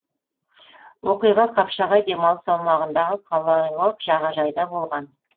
оқиға қапшағай демалыс аумағындағы қалалық жағажайда болған